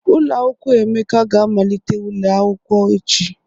Ụlọakwụkwọ Emeka ga amalite ule akwụkwọ echi.